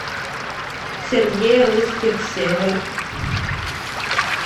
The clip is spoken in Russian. сергей русских север